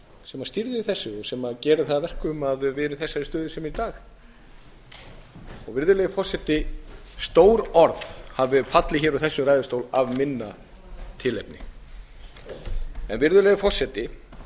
sem stýrði þessu og sem gerir það að verkum að við erum í þessari stöðu sem við erum í í dag stór orð hafa fallið úr þessum ræðustól af minna tilefni niðurstaðan